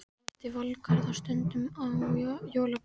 Ég hitti Valgarð stundum í jólaboðum.